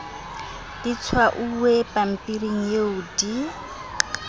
di tshwauwe pampiring eo di